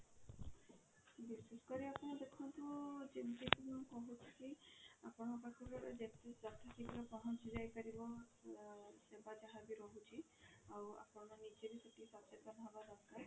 ବିଶେଷ କରି ଆପଣ ଦେଖନ୍ତୁ ଯେମିତି କି ମୁଁ କହୁଛି କି ଆପଣଙ୍କ ପାଖରେ ଯେତେ ଯଥା ଶୀଘ୍ର ପହଞ୍ଚି ଯାଇ ପାରିବ ଅ ସେବା ଯାହା ବି ରହୁଛି ଆଉ ଆପଣ ନିଜେ ବି ଟିକେ ସଚେତନ ହେବ ଦରକାର